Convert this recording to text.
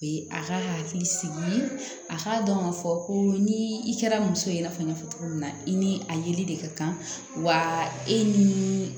A ka hakili sigi a k'a dɔn ka fɔ ko ni i kɛra muso ye i n'a fɔ n y'a fɔ cogo min na i ni a yeli de ka kan wa e ni